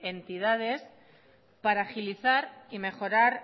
entidades para agilizar y mejorar